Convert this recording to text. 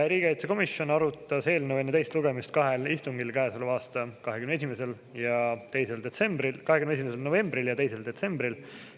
Riigikaitsekomisjon arutas eelnõu enne teist lugemist kahel istungil: käesoleva aasta 21. novembril ja 2. detsembril.